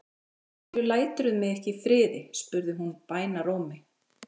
Af hverju læturðu mig ekki í friði? spurði hún bænarrómi.